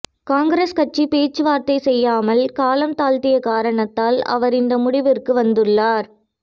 காங்கிரஸ் கட்சி பேச்சுவார்த்தை செய்யாமல் காலம் தாழ்த்திய காரணத்தால் அவர் இந்த முடிவிற்கு வந்துள்ளார்